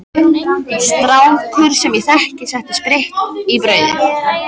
Strákur sem ég þekki setti spritt í brauð.